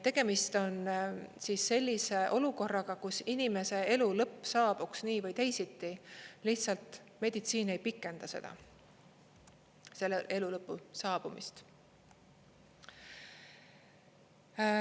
Tegemist on siis sellise olukorraga, kus inimese elu lõpp saabuks nii või teisiti, lihtsalt meditsiin ei pikenda seda, selle elu lõpu saabumist.